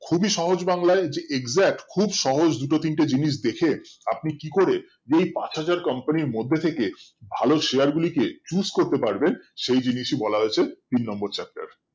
খুবই সহজ বাংলায় যে exact খুব সহজ জিনিস দুটো তিনটে জিনিস দেখে আপনি কি করে এই পাঁচ হাজার company এর মধ্যে থেকে ভালো share গুলিকে choose করতে পারবেন সেইজিনিসি বলা হয়েছে তিন নম্বর chapter এ